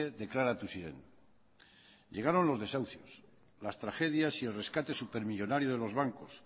deklaratu ziren llegaron los desahucios las tragedias y el rescate supermillónario de los bancos